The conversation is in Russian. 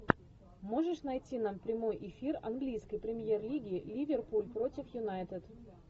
можешь найти нам прямой эфир английской премьер лиги ливерпуль против юнайтед